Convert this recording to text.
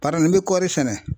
nin bɛ kɔɔri sɛnɛ.